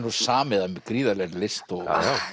nú samið af gríðarlegri list og